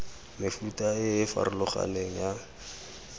mefuta e e farologaneng ya